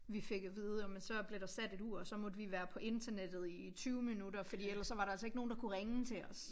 Vi fik at vide ej men så blev der sat et ur og så måtte vi være på internettet i 20 minutter fordi ellers så var der altså ikke nogen der kunne ringe til os